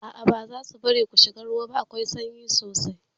A'a bazasu bari ku shiga ruwa ba, akwai sanyi sosai